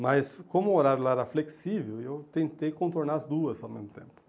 Mas como o horário lá era flexível, eu tentei contornar as duas ao mesmo tempo.